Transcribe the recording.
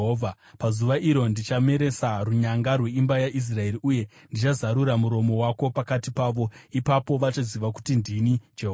“Pazuva iro ndichameresa runyanga rweimba yaIsraeri, uye ndichazarura muromo wako pakati pavo. Ipapo vachaziva kuti ndini Jehovha.”